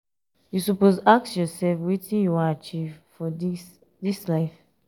you suppose dey ask yoursef wetin you wan achieve for dis dis life.